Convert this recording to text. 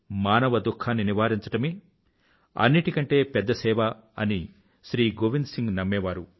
మానవ దుఖాన్ని నివారించడమే అన్నింటికంటే పెద్ద సేవ అని శ్రీ గోవింద్ సింగ్ నమ్మేవారు